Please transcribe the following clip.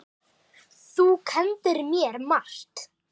Þú kenndir mér margt.